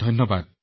ধন্যবাদ